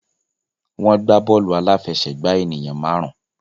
Wọ́n gbà bọ́ọ̀lù aláfẹsẹ̀gbá ènìyàn máàrún.